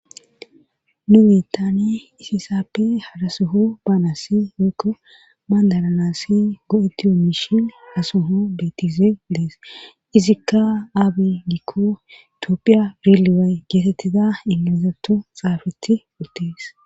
nu geettane isisappe hadasuho baanassi woykko bandalanassi go7etti omishi asoho bettize dees izikka aabe gikko itiophiya reeliwey geetettiza ingilizato xaafeti uttees